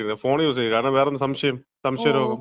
Phone യൂസെന്നെ. വേറെന്താ? സംശയം. സംശയ രോഗം.